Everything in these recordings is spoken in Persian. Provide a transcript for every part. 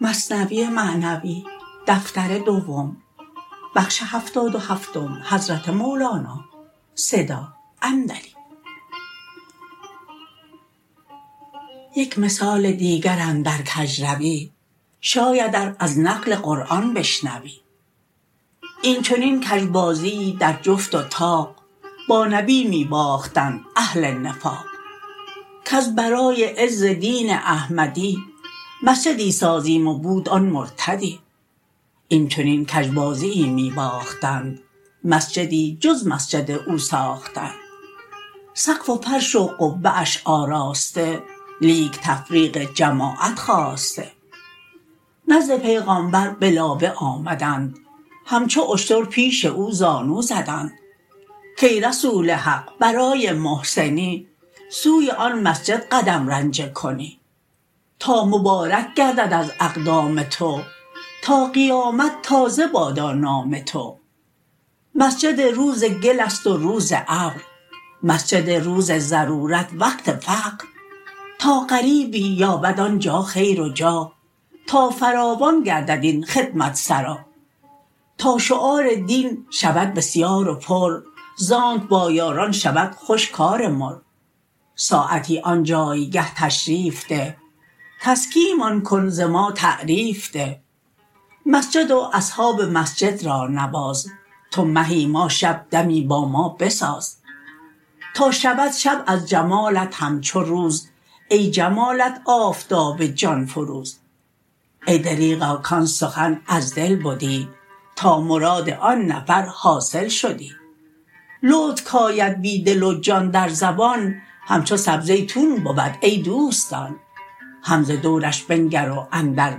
یک مثال دیگر اندر کژروی شاید ار از نقل قرآن بشنوی این چنین کژ بازیی در جفت و طاق با نبی می باختند اهل نفاق کز برای عز دین احمدی مسجدی سازیم و بود آن مرتدی این چنین کژ بازیی می باختند مسجدی جز مسجد او ساختند سقف و فرش و قبه اش آراسته لیک تفریق جماعت خواسته نزد پیغامبر به لابه آمدند همچو اشتر پیش او زانو زدند کای رسول حق برای محسنی سوی آن مسجد قدم رنجه کنی تا مبارک گردد از اقدام تو تا قیامت تازه بادا نام تو مسجد روز گلست و روز ابر مسجد روز ضرورت وقت فقر تا غریبی یابد آنجا خیر و جا تا فراوان گردد این خدمت سرا تا شعار دین شود بسیار و پر زانک با یاران شود خوش کار مر ساعتی آن جایگه تشریف ده تزکیه مان کن ز ما تعریف ده مسجد و اصحاب مسجد را نواز تو مهی ما شب دمی با ما بساز تا شود شب از جمالت همچو روز ای جمالت آفتاب جان فروز ای دریغا کان سخن از دل بدی تا مراد آن نفر حاصل شدی لطف کاید بی دل و جان در زبان همچو سبزه تون بود ای دوستان هم ز دورش بنگر و اندر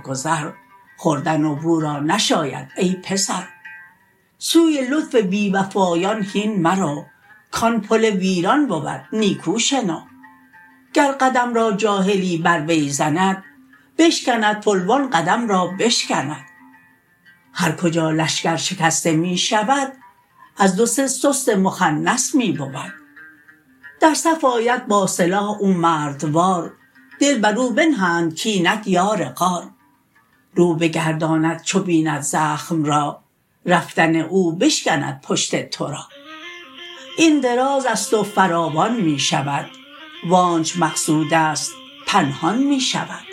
گذر خوردن و بو را نشاید ای پسر سوی لطف بی وفایان هین مرو کان پل ویران بود نیکو شنو گر قدم را جاهلی بر وی زند بشکند پل و آن قدم را بشکند هر کجا لشکر شکسته می شود از دو سه سست مخنث می بود در صف آید با سلاح او مردوار دل برو بنهند کاینک یار غار رو بگرداند چو بیند زخم را رفتن او بشکند پشت تو را این درازست و فراوان می شود وآنچ مقصودست پنهان می شود